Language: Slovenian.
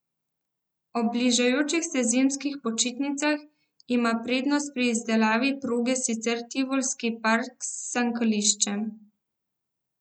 Ob bližajočih se zimskih počitnicah ima prednost pri izdelavi proge sicer Tivolski park s sankališčem.